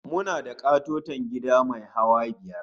Muna da ƙatoton gida mai hawa biyar